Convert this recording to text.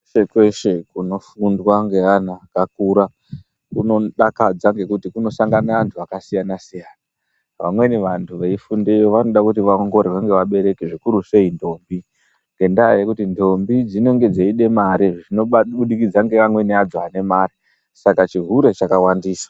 Kweshe kweshe kuno fundwa nge ana akakura kuno dakadza ngekuti kuno sangane antu aka siyana siyana vamweni vantu veyi fundeyo vanode kuti vaongororwe ne vabereki zvikuru sei ndombi ngenda yekuti ndombi dzinenge dzeida mari zvino budikidza ne amweni adzo ane mari saka chihure chinowandisa.